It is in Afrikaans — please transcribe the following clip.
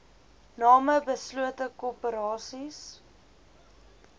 name beslote korporasies